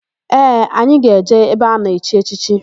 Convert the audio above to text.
Ee, anyị ga-eje ebe a na-echi echichi.